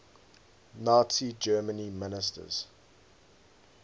nazi germany ministers